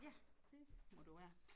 Ja det må du være